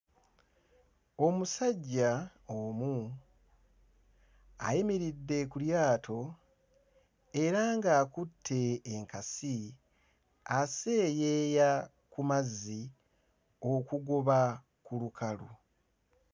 Omusajja omu ayimiridde ku lyato era nga akutte enkasi aseeyeeya ku mazzi okugoba ku lukalu.